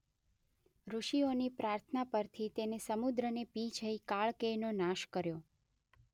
ઋષિઓની પ્રાર્થના પરથી તેણે સમુદ્રને પી જઈ કાળકેયનો નાશ કર્યો.